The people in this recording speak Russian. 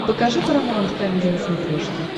покажи парамаунт камеди на смотрешке